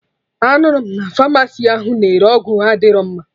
Anụrụ m na pharmacy ahụ na-ere ọgwụ adịrọ mma